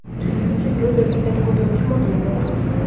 Chunki unda kayfiyatni ko‘taruvchi moddalar mavjud.